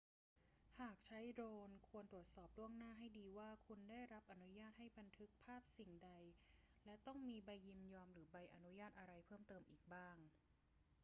หากใช้โดรน ควรตรวจสอบล่วงหน้าให้ดีว่าคุณได้รับอนุญาตให้บันทึกภาพสิ่งใด และต้องมีใบยินยอมหรือใบอนุญาตอะไรเพิ่มเติมอีกบ้าง